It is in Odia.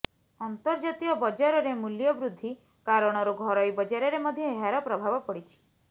ଅନ୍ତର୍ଜାତୀୟ ବଜାରରେ ମୂଲ୍ୟବୃଦ୍ଧି କାରଣରୁ ଘରୋଇ ବଜାରରେ ମଧ୍ୟ ଏହାର ପ୍ରଭାବ ପଡ଼ିଛି